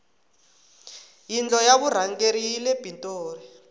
yindlo ya vurhangeri yile pitoli